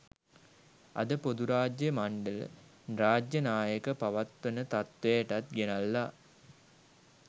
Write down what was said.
අද පොදුරාජ්‍ය මණ්ඩල රාජ්‍ය නායක පවත්වන තත්වයටත් ගෙනල්ලා